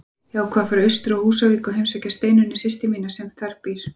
Ég ákvað að fara austur á Húsavík og heimsækja Steinunni systur mína sem þar býr.